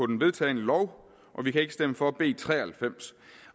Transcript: den vedtagne lov og vi kan ikke stemme for b tre og halvfems